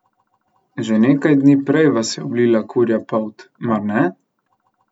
Že nekaj dni prej vas je oblila kurja polt, mar ne?